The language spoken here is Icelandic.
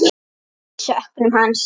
Við söknum hans.